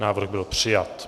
Návrh byl přijat.